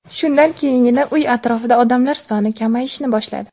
Shundan keyingina uy atrofida odamlar soni kamayishni boshladi.